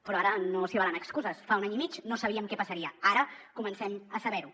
però ara no s’hi valen excuses fa un any i mig no sabíem què passaria ara comencem a saber ho